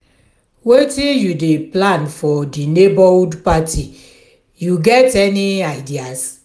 wetin you dey plan for di neighborhood party you get any ideas?